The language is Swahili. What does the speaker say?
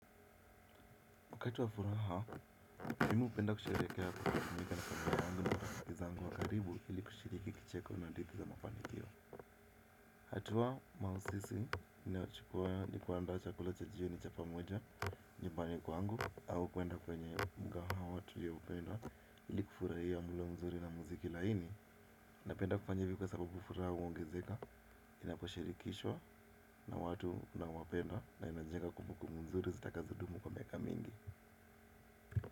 Wakati wa furaha, mimi upenda kusherekea kujumuika na familia yangu na rafiki zangu wa karibu ili kushiriki kicheko na hadithi za mafanikio. Hatua mausisi, ninayochukua ni kuanda chakula cha jioni cha pamoja nyubani kwangu au kuenda kwenye mgahawa tulioupenda ili kufurahia mulo mzuri na muziki laini. Napenda kufanjya hivi kwa sababu furaha uongezeka, inaposhirikishwa na watu naowapenda na inajenga kumbukumbu mzuri zitakazo dumu kwa miaka mingi.